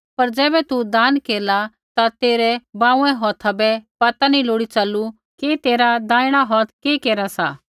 पर ज़ैबै तू दान केरला ता तेरै बाँउऐ हौथा बै पता नी लोड़ी च़लू कि तेरा दैहिणा हौथ कि केरा सा